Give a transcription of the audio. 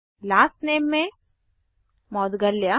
last name में मौद्गल्य